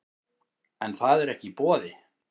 En það er ekki í boði